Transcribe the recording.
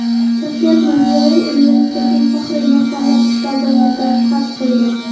Shavkat Mirziyoyev universitetning Faxriy mehmonlar kitobiga dastxat qo‘ydi.